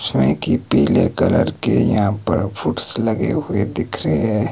जिसमें कि पीले कलर के यहां पर फूट्स लगे हुए दिख रहे हैं।